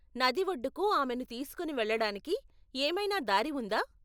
నది ఒడ్డుకు ఆమెను తీసుకుని వెళ్ళడానికి ఏమైనా దారి ఉందా?